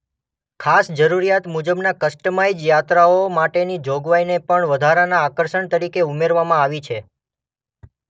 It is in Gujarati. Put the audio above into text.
ખાસ જરૂરિયાત મુજબના કસ્ટમાઇઝ યાત્રાઓ માટેની જોગવાઈને પણ વધારાના આકર્ષણ તરીકે ઉમેરવામાં આવી છે.